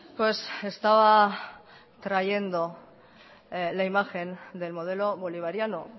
pues estaba trayendo la imagen del modelo bolivariano